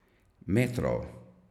Metrov.